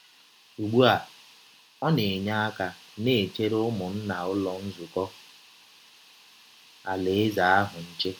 Ụgbụ a, ọ na - enye aka na - echere ụmụnna Ụlọ Nzụkọ Alaeze ahụ nche.